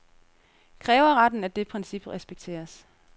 Kræver retten, at det princip respekteres.